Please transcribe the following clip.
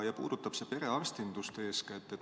See puudutab eeskätt perearstindust.